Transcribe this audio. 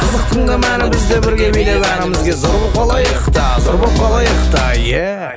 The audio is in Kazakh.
қызықтың да мәні бізде бірге билеп әнімізге зор болып қалайық та зор болып қалайық та е